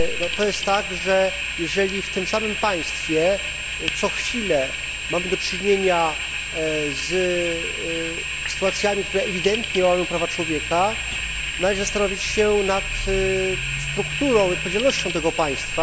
To jest tak, że jeżeli w tym samym państwie co chwilę mamy do czynienia z sytuacjami, które ewidentnie łamią prawa człowieka, należy zastanowić się nad strukturą i odpowiedzialnością tego państwa.